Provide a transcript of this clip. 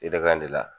I da in de la